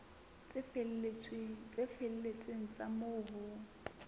tse felletseng tsa moo ho